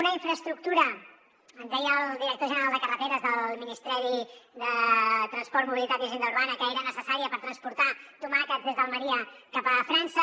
una infraestructura ens deia el director general de carreteres del ministeri de transport mobilitat i agenda urbana que era necessària per transportar tomàquets des d’almeria cap a frança